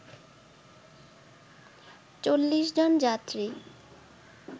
৪০ জন যাত্রী